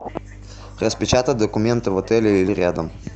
распечатать документы в отеле или рядом